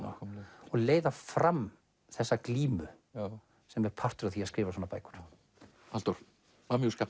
og leiða fram þessa glímu sem er partur af því að skrifa svona bækur Halldór